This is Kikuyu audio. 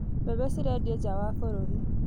Mbembe cirendio nja wa bũrũri.